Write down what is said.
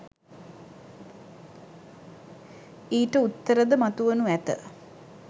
ඊට උත්තරද මතු වනු ඇත